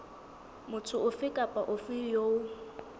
motho ofe kapa ofe eo